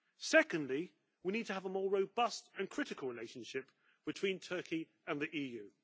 Secondly, we need to have a more robust and critical relationship between Turkey and the EU.